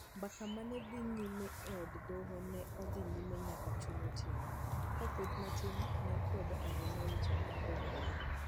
Mbaka ma ne dhi nyime e Od Romo ne odhi nyime nyaka chuny otieno, ka kweth matin ne kwedo ahinya wach mar Doho Maduong '.